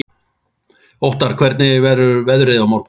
Óttarr, hvernig verður veðrið á morgun?